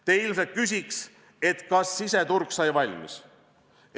Te ilmselt küsiks, kas siseturg sai valmis.